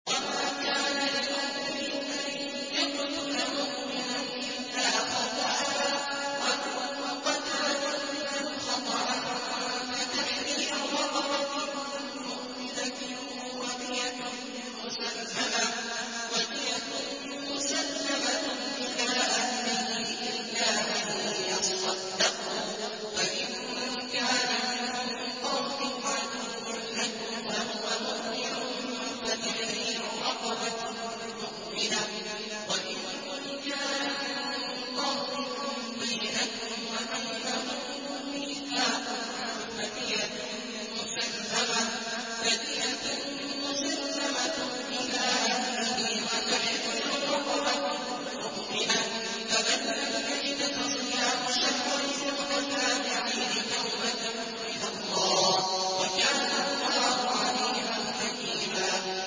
وَمَا كَانَ لِمُؤْمِنٍ أَن يَقْتُلَ مُؤْمِنًا إِلَّا خَطَأً ۚ وَمَن قَتَلَ مُؤْمِنًا خَطَأً فَتَحْرِيرُ رَقَبَةٍ مُّؤْمِنَةٍ وَدِيَةٌ مُّسَلَّمَةٌ إِلَىٰ أَهْلِهِ إِلَّا أَن يَصَّدَّقُوا ۚ فَإِن كَانَ مِن قَوْمٍ عَدُوٍّ لَّكُمْ وَهُوَ مُؤْمِنٌ فَتَحْرِيرُ رَقَبَةٍ مُّؤْمِنَةٍ ۖ وَإِن كَانَ مِن قَوْمٍ بَيْنَكُمْ وَبَيْنَهُم مِّيثَاقٌ فَدِيَةٌ مُّسَلَّمَةٌ إِلَىٰ أَهْلِهِ وَتَحْرِيرُ رَقَبَةٍ مُّؤْمِنَةٍ ۖ فَمَن لَّمْ يَجِدْ فَصِيَامُ شَهْرَيْنِ مُتَتَابِعَيْنِ تَوْبَةً مِّنَ اللَّهِ ۗ وَكَانَ اللَّهُ عَلِيمًا حَكِيمًا